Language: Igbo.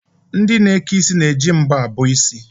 Ndị na-eke isi na-eji mbọ abọ isi.